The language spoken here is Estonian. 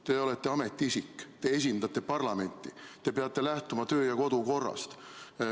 Te olete ametiisik, te esindate parlamenti, te peate lähtuma töö- ja kodukorrast.